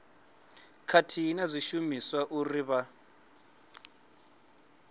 khathihi na zwishumiswa uri vha